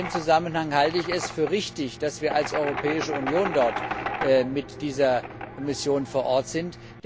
In diesem Zusammenhang halte ich es für richtig, dass wir als Europäische Union dort mit dieser Mission vor Ort sind.